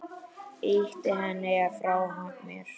Ýti henni frá mér.